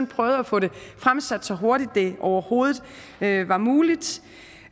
prøvet at få det fremsat så hurtigt som det overhovedet var muligt